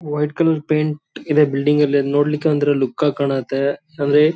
ಆ ಆದಿಕ್ಕೆ ಬಿಲ್ಡಿಂಗಿಗ್ ವೈಟ್ ಹಾಕದ್ರು ಚೆನ್ನಾಗ್ ಕಾಣುತ್ತೆ ಮಿಲ್ಕಿ ವೈಟು ಐವರಿ ವೈಟೆಲ್ಲ .